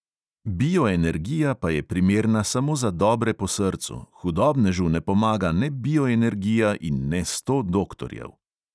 Bioenergija pa je primerna samo za dobre po srcu, hudobnežu ne pomaga ne bioenergija in ne sto doktorjev.